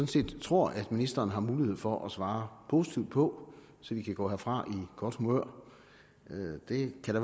set tror at ministeren har mulighed for at svare positivt på så vi kan gå herfra i godt humør det kan da